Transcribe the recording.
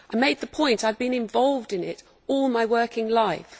I made that point and I have been involved in it all my working life.